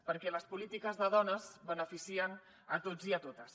perquè les polítiques de dones beneficien a tots i a totes